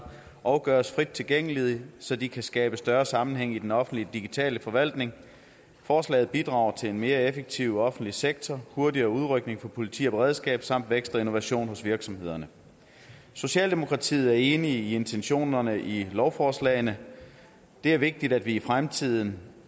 og gøres frit tilgængelige så de kan skabe større sammenhæng i den offentlige digitale forvaltning forslaget bidrager til en mere effektiv offentlig sektor hurtigere udrykning for politi og beredskab samt vækst og innovation hos virksomhederne socialdemokratiet er enig i intentionerne i lovforslagene det er vigtigt at vi i fremtiden